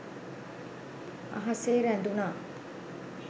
අහසේ රැඳුණා.